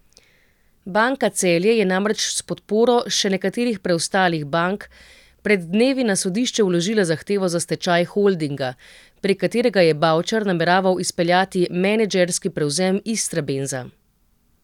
Banka Celje je namreč s podporo še nekaterih preostalih bank pred dnevi na sodišče vložila zahtevo za stečaj holdinga, prek katerega je Bavčar nameraval izpeljati menedžerski prevzem Istrabenza.